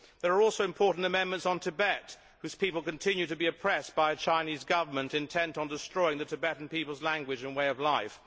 There are also important amendments on Tibet, whose people continue to be oppressed by a Chinese Government intent on destroying the Tibetan people's language and way of life.